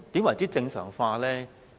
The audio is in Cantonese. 何謂正常化呢？